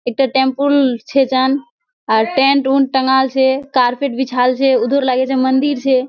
एकटा टेम्पुल छै जान टेंट ऊंट टँगाल छै एकटा कार्पेट बिछाल छै उधर लागे छै मंदिर छै।